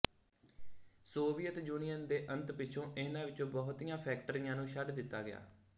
Soviet Union ਦੇ ਅੰਤ ਪਿੱਛੋਂ ਇਹਨਾਂ ਵਿੱਚੋ ਬਹੁਤੀਆਂ ਫ਼ੈਕਟਰੀਆਂ ਨੂੰ ਛੱਡ ਦਿੱਤਾ ਗਿਆ